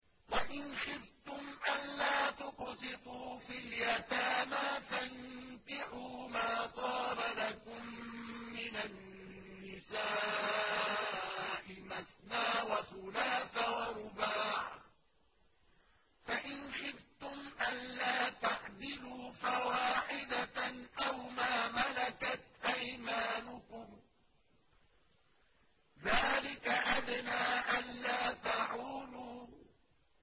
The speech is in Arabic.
وَإِنْ خِفْتُمْ أَلَّا تُقْسِطُوا فِي الْيَتَامَىٰ فَانكِحُوا مَا طَابَ لَكُم مِّنَ النِّسَاءِ مَثْنَىٰ وَثُلَاثَ وَرُبَاعَ ۖ فَإِنْ خِفْتُمْ أَلَّا تَعْدِلُوا فَوَاحِدَةً أَوْ مَا مَلَكَتْ أَيْمَانُكُمْ ۚ ذَٰلِكَ أَدْنَىٰ أَلَّا تَعُولُوا